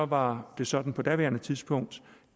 var det sådan på daværende tidspunkt